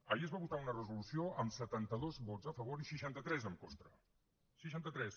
ahir es va votar una resolució amb setanta dos vots a favor i seixanta tres en contra seixanta tres